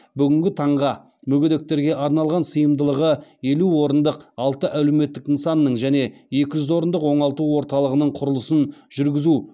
бүгінгі таңға мүгедектерге арналған сыйымдылығы елу орындық алты әлеуметтік нысанның және екі жүз орындық оңалту орталығының құрылысын жүргізуге